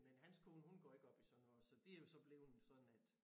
Men hans kone hun går ikke op i sådan noget så det jo så blevet sådan at